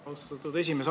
Austatud esimees!